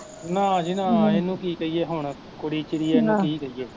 ਨਾ ਜੀ ਨਾ ਇਹਨੂੰ ਕੀ ਕਹੀਏ ਹੁਣ, ਕੁੜੀ ਚਿੜੀ ਐ ਇਹਨੂੰ ਕੀ ਕਹੀਏ